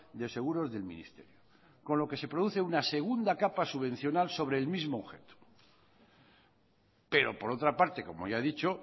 de seguros del ministerio con lo que se produce una segunda capa subvencional sobre el mismo objeto pero por otra parte como ya he dicho